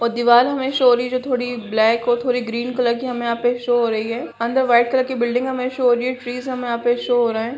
और दीवाल हमें शो हो रही है जो थोड़ी ब्लैक और थोड़ी ग्रीन कलर की हमें यहाँ पे शो हो रही है अंदर वाइट कलर की बिल्डिंग हमें शो हो रही है ट्रीस हमें यहाँ पे शो हो रहा है।